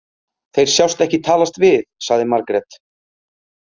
Þeir sjást ekki talast við, sagði Margrét.